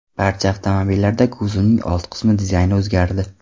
Barcha avtomobillarda kuzovning old qismi dizayni o‘zgardi.